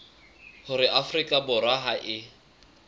hore afrika borwa ha e